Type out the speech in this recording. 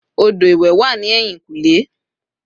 odo iwé wa ni eyinkunle